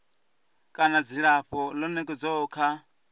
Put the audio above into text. kana dzilafho ḽo nekedzwaho kha